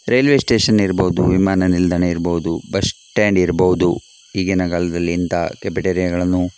railway station ಇರ್ಬಹುದು ವಿಮಾನ ನಿಲ್ದಾಣ ಇರಬಹುದು ಬಸ್ ಸ್ಟಾಂಡ್ ಇರಬಹುದು ಈಗಿನ ಕಾಲದಲ್ಲಿ ಇಂತಹ ಕೆಫೆಟೇರಿಯಗಳನ್ನು --